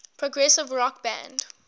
progressive rock band